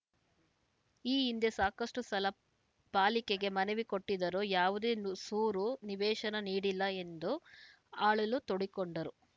ಈ ಹಿಂದೆ ಸಾಕಷ್ಟುಸಲ ಪಾಲಿಕೆಗೆ ಮನವಿ ಕೊಟ್ಟಿದ್ದರೂ ಯಾವುದೇ ಸೂರು ನಿವೇಶನ ನೀಡಿಲ್ಲ ಎಂದು ಅಳಲು ತೋಡಿಕೊಂಡರು